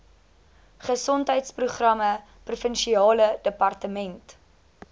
gesondheidsprogramme provinsiale departement